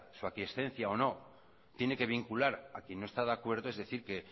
su aquiescencia o no tiene que vincular a quien no está de acuerdo es decir que